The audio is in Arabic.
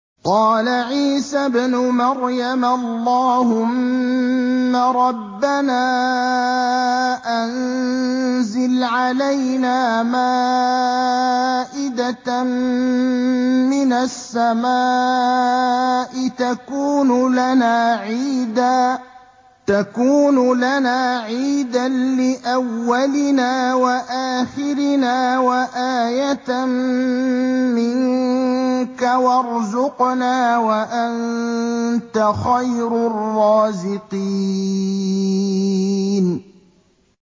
قَالَ عِيسَى ابْنُ مَرْيَمَ اللَّهُمَّ رَبَّنَا أَنزِلْ عَلَيْنَا مَائِدَةً مِّنَ السَّمَاءِ تَكُونُ لَنَا عِيدًا لِّأَوَّلِنَا وَآخِرِنَا وَآيَةً مِّنكَ ۖ وَارْزُقْنَا وَأَنتَ خَيْرُ الرَّازِقِينَ